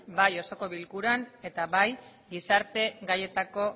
bai osoko bilkuran eta bai gizarte gaietako